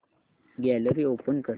gallery open कर